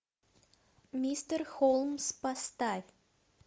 мистер холмс поставь